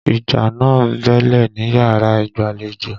Ìjà náà bẹ́ẹ́lẹ̀ níyàrá ìgbàlejò.